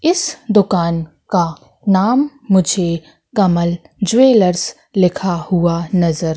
इस दुकान का नाम मुझे कमल ज्वेलर्स लिखा हुआ नजर--